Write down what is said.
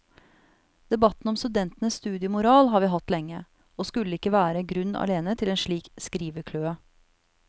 Debatten om studentenes studiemoral har vi hatt lenge, og skulle ikke være grunn alene til en slik skrivekløe.